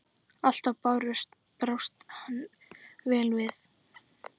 Alltaf brást hann vel við.